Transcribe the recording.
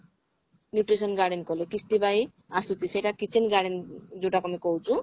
nutrition garden କଲେ କିସ୍ତି ପାଇଁ ଆସୁଛି ସେଟା kitchen garden ଯଉଟା କି ଆମେ କହୁଛୁ